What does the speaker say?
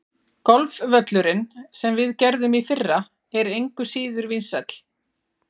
Golfvöllurinn, sem við gerðum í fyrra, er engu síður vinsæll.